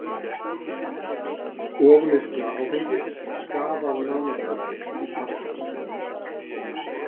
Ofneysla áfengis skaðar nánast öll líffærakerfi